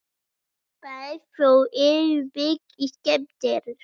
Báðir fólksbílarnir eru mikið skemmdir